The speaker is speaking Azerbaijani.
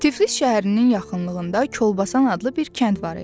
Tiflis şəhərinin yaxınlığında Kolbasan adlı bir kənd var idi.